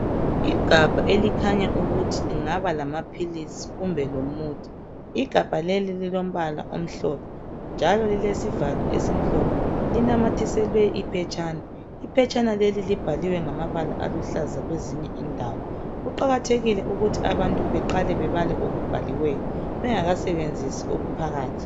Igabha elikhanya ukuthi lingaba lamaphilisi kumbe lomuthi igabha leli lilombala omhlophe njalo lilesivalo esimhlophe linamathiselwe iphetshana, iphetshana leli libhaliwe ngamabala aluhlaza kwezinye indawo kuqakathekile ukuthi abantu beqale bebale okubhaliweyo bengaka sebenzisi okuphakathi.